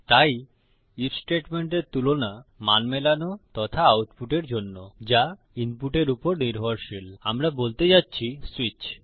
তাই আইএফ স্টেটমেন্টের তুলনা মান মেলানো তথা আউটপুটের জন্য যা ইনপুটের উপর নির্ভরশীল আমরা বলতে যাচ্ছি সুইচ